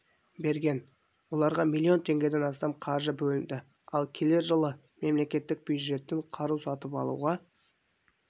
берген оларға миллион теңгеден астам қаржы бөлінді ал келер жылы мемлекеттік бюджеттен қару сатып алуға